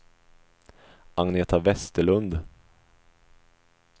Agneta Vesterlund